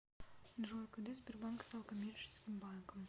джой когда сбербанк стал коммерческим банком